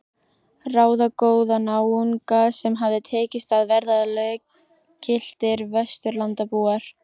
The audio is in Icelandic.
Ráðagóða náunga sem hafði tekist að verða löggiltir Vesturlandabúar.